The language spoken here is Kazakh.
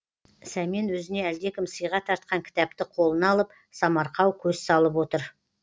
сәмен өзіне әлдекім сыйға тартқан кітапты қолына алып самарқау көз салып отыр